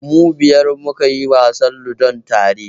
Mu biyar muka yi wasan Ludon tare.